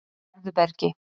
Gerðubergi